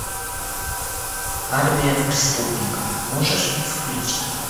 армия преступников можешь включить